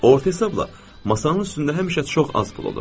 Orta hesabla masanın üstündə həmişə çox az pul olur.